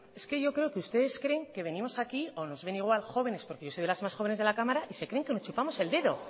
es que yo creo que ustedes creen que venimos aquí o nos ven igual jóvenes porque yo soy de las más jóvenes de la cámara y se creen que nos chupamos el dedo